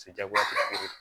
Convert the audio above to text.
Se jagoya tɛ kelen ye